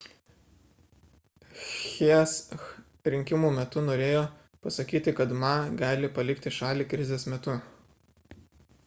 hsieh rinkimų metu norėjo pasakyti kad ma gali palikti šalį krizės metu